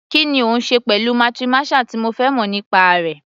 Kí ni ó ń ṣẹlẹ̀ pẹ̀lú patriarchal tí o fẹ́ mọ̀ nípa rẹ̀?